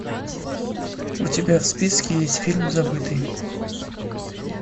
у тебя в списке есть фильм забытый